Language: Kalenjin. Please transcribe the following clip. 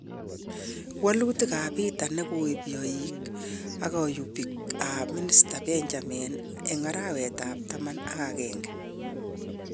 Walutik ap petet nekokipyoik ak kayupik ap minister Benjamin en arawet ap taman agenge.